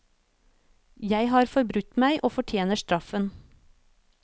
Jeg har forbrutt meg, og fortjener straffen.